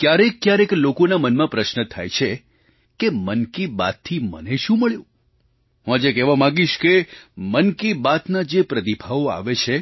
ક્યારેકક્યારેક લોકોના મનમાં પ્રશ્ન થાય છે કે મન કી બાતથી મને શું મળ્યું હું આજે કહેવા માગીશ કે મન કી બાતના જે પ્રતિભાવો આવે છે